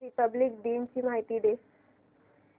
Republic दिन ची माहिती दे